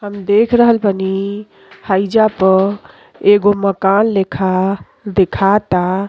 हम देख रहोल बानी हइजा प एगो मकान लिखा देखाता।